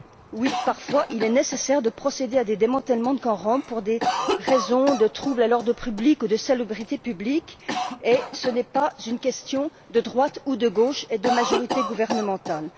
Oui, parfois, il est nécessaire de procéder à des démantèlements de camps roms pour des raisons de troubles à l'ordre public ou de salubrité publique, et ce n'est pas une question de droite ou de gauche, ni de majorité gouvernementale.